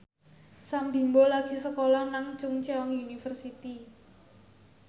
Sam Bimbo lagi sekolah nang Chungceong University